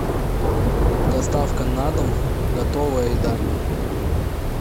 доставка на дом готовая еда